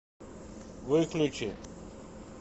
выключи